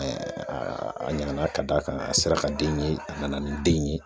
a ɲana ka d'a kan a sera ka den ye a nana ni den in ye